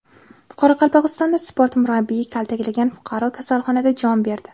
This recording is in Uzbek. Qoraqalpog‘istonda sport murabbiyi kaltaklagan fuqaro kasalxonada jon berdi.